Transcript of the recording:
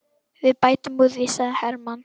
Við bætum úr því, sagði Hermann.